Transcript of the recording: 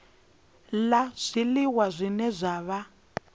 la zwiliwa zwine zwa vha